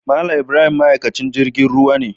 Mal Ibrahim ma'aikaci jirgin ruwa ne.